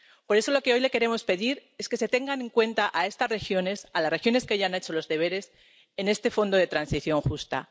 Por eso, lo que hoy le queremos pedir es que se tenga en cuenta a estas regiones, a las regiones que ya han hecho los deberes, en este Fondo de Transición Justa.